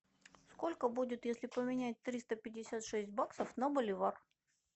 сколько будет если поменять триста пятьдесят шесть баксов на боливар